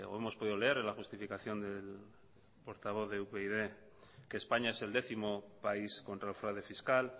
hemos podido leer en la justificación del portavoz de upyd que españa es el décimo país contra el fraude fiscal